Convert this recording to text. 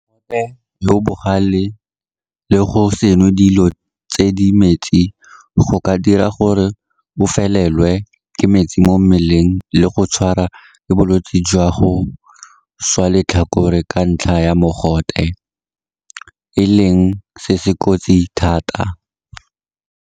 Mogote yo o bogale le go se nwe dilo tse di metsi go ka dira gore o fele-lwe ke metsi mo mmeleng le go tshwarwa ke bolwetse jwa go swa letlhakore ka ntlha ya mogote, e leng se se kotsi thata.